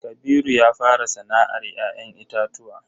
Kabiru ya fara sana'ar ya'yan itatuwa.